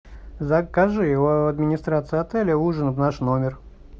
закажи у администрации отеля ужин в наш номер